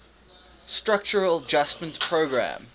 structural adjustment program